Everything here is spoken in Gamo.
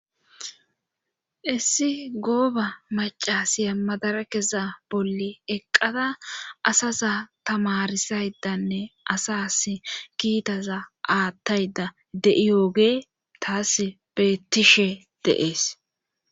Issi gooba macasiya madara keza bolli eqqada asaza tamarisaydanne asas kiitaza aathtayda de'i yooge taas beettishe deees.